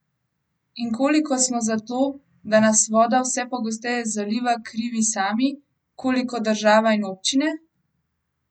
In koliko smo za to, da nas voda vse pogosteje zaliva, krivi sami, koliko država in občine?